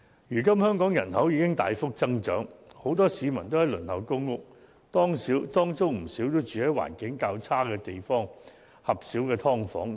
如今香港人口已經大幅增長，很多市民都在輪候公屋，其中不少更是居住在環境較差的狹小"劏房"。